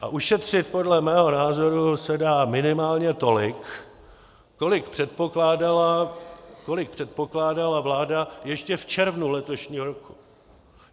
A ušetřit podle mého názoru se dá minimálně tolik, kolik předpokládala vláda ještě v červnu letošního roku.